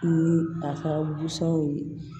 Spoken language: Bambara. Ni a ka w ye